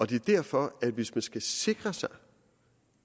det er derfor at hvis man skal sikre sig